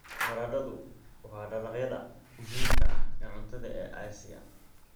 Baradhadu waa dalagyada muhiimka ah ee cuntada ee Aasiya.